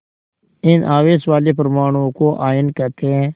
इन आवेश वाले परमाणुओं को आयन कहते हैं